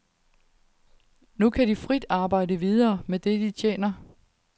Nu kan de frit arbejde videre med det, de tjener.